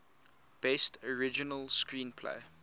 best original screenplay